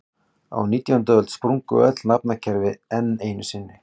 Á nítjándu öld sprungu öll nafnakerfi enn einu sinni.